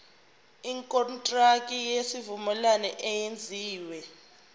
ikontraki yesivumelwano eyenziwe